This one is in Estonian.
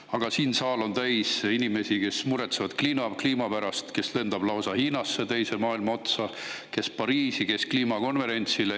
Aga siinne saal on täis inimesi, kes muretsevad kliima pärast – kes lendab lausa Hiinasse, teise maailma otsa, kes Pariisi, kes kliimakonverentsile.